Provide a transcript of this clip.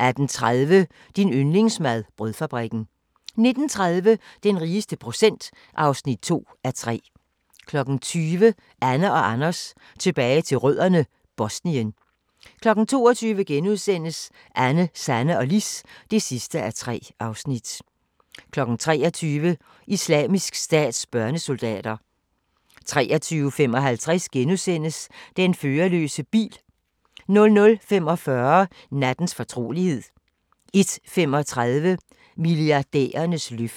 18:30: Din yndlingsmad: Brødfabrikken 19:30: Den rigeste procent (2:6) 20:00: Anne & Anders tilbage til rødderne: Bosnien 22:00: Anne, Sanne og Lis (3:3)* 23:00: Islamisk Stats børnesoldater 23:55: Den førerløse bil * 00:45: Nattens fortrolighed 01:35: Milliardærernes løfte